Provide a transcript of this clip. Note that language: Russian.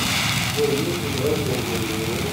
джой есть ли братья у ганеева